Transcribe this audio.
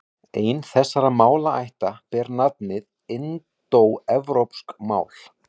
Ein þessara málaætta ber nafnið indóevrópsk mál.